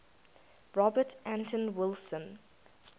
robert anton wilson